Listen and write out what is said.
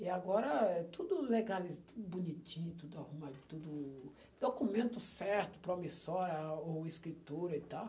E agora é tudo legaliza, tudo bonitinho, tudo arruma, documento certo, promissora ou escritura e tal.